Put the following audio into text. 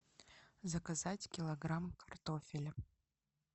заказать килограмм картофеля